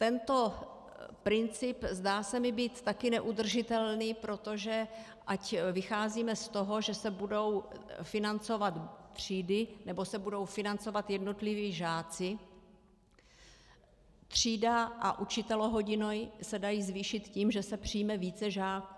Tento princip zdá se mi být také neudržitelný, protože ať vycházíme z toho, že se budou financovat třídy, nebo se budou financovat jednotliví žáci - třída a učitelohodiny se dají zvýšit tím, že se přijme více žáků.